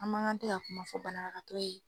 A man ga tɛ ka kuma fɔ banabagatɔ ye